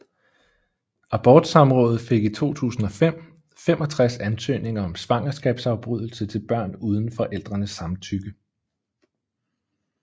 Abortsamrådet fik i 2005 65 ansøgninger om svangerskabsafbrydelse til børn uden forældrenes samtykke